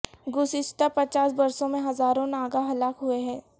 گزشتہ پچاس برسوں میں ہزاروں ناگا ہلاک ہوئے ہیں